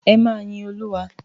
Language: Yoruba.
Ẹ máa yin Olúwa.